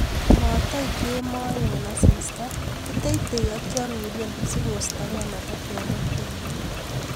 Motoik kemoe en asista, kiteitei ak kioruren sikostokei metetek ak buiywet.